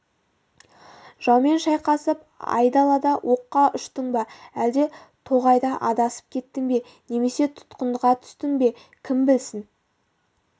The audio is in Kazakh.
жаумен шайқасып айдалада оққа ұштың ба әлде тоғайда адасып кеттің бе немесе тұтқынға түстің бе кім білсін